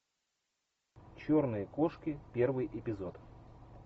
черные кошки первый эпизод